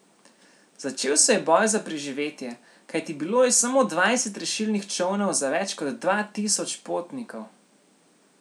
Začel se je boj za preživetje, kajti bilo je samo dvajset rešilnih čolnov za več kot dva tisoč potnikov.